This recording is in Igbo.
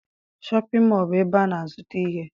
Shọpịn mọọ bụ ebe a na-azụta ihe.